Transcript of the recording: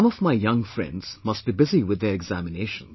Some of my young friends must be busy with their examinations